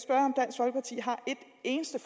eneste